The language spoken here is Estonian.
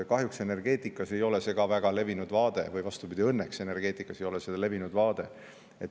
Kahjuks ei ole see energeetikas ka väga levinud vaade, või vastupidi, õnneks ei ole see energeetikas levinud vaade.